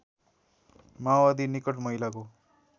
माओवादी निकट महिलाको